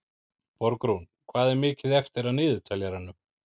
Borgrún, hvað er mikið eftir af niðurteljaranum?